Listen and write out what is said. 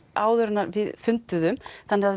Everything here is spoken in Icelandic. áður en að við funduðum þannig að